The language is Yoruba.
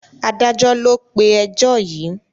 Adájọ́ ló pé ẹjọ́ yìí.